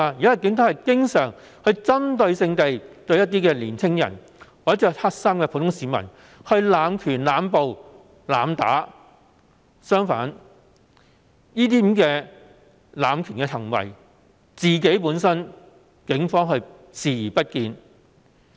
現時警隊經常針對性向青年或身穿黑衣的普通市民施行濫權、濫捕和濫打，卻對這些濫權行為本身視而不見。